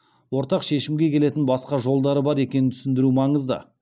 ортақ шешімге келетін басқа жолдары бар екенін түсіндіру маңызды